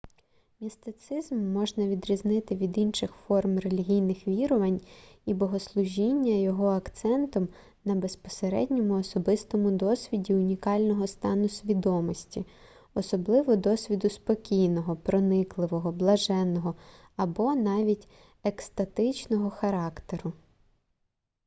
містицизм можна відрізнити від інших форм релігійних вірувань і богослужіння його акцентом на безпосередньому особистому досвіді унікального стану свідомості особливо досвіду спокійного проникливого блаженного або навіть екстатичного характеру